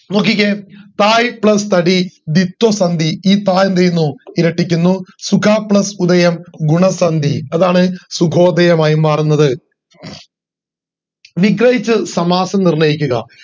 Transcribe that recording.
നോക്കിക്കേ സായി plus തടി ധ്വിത്ത സന്ധി ഈ ത എന്ത് ചെയ്യുന്നു ഇരട്ടിക്കുന്നു സുഗ plus ഉദയം ഗുണ സന്ധി അഹാന സുഗോദയം ആയി മാറുന്നത് വിഗ്രഹിച്ച്‌ സമാസം നിർണയിക്കുക